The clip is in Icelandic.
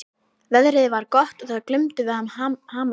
Veðrið var gott og það glumdu við hamarshögg.